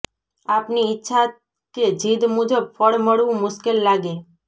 આપની ઇચ્છા કે જિદ મુજબ ફળ મળવું મુશ્કેલ લાગે